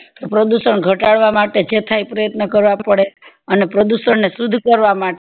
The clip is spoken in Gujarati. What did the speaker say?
પ્રદુષણ ઘટાડવા માટે જેથાય એ પ્રયત્ન કરવા પડે અને પ્રદુષણ ને સુધ કરવા માટે